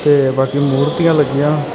ਤੇ ਬਾਕੀ ਮੂਰਤੀਆਂ ਲੱਗੀਆਂ।